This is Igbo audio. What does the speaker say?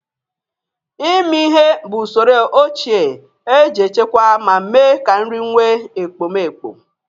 Ịmi ihe bụ usoro ochie e ji echekwa ma mee ka nri nwe ekpomeekpo.